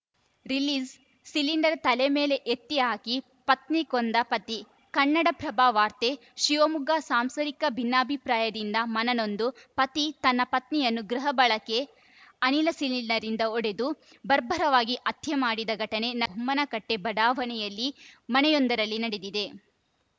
release cylinder ತಲೆ ಮೇಲೆ ಎತ್ತಿ ಹಾಕಿ ಪತ್ನಿ ಕೊಂದ ಪತಿ ಕನ್ನಡಪ್ರಭವಾರ್ತೆ ಶಿವಮೊಗ್ಗ ಸಾಂಸಾರಿಕ ಭಿನ್ನಾಭಿಪ್ರಾಯದಿಂದ ಮನನೊಂದು ಪತಿ ತನ್ನ ಪತ್ನಿಯನ್ನು ಗೃಹ ಬಳಕೆ ಅನಿಲ ಸಿಲಿಂಡರ್‌ನಿಂದ ಹೊಡೆದು ಬರ್ಬರವಾಗಿ ಹತ್ಯೆ ಮಾಡಿದ ಘಟನೆ ಬೊಮ್ಮನಕಟ್ಟೆಬಡಾವಣೆಯಲ್ಲಿನ ಮನೆಯೊಂದರಲ್ಲಿ ನಡೆದಿದೆ